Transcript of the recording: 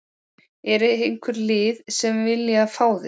Er einhver lið sem að vilja fá þig?